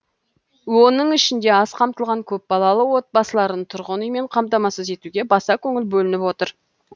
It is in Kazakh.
оның ішінде аз қамтылған көпбалалы отбасыларын тұрғын үймен қамтамасыз етуге баса көңіл бөлініп отыр